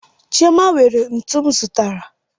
Chioma were ntu m zụtara